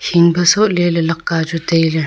keeng pe so le lakka chu taile.